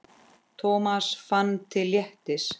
Thomas fann til léttis.